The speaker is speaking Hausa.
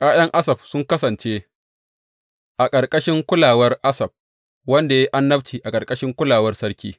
’Ya’yan Asaf sun kasance a ƙarƙashin kulawar Asaf, wanda ya yi annabci a ƙarƙashin kulawar sarki.